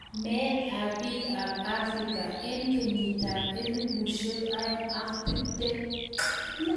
Meet ap piik AP afrika eng kenyiit ap elfusiek oeng ak tiptem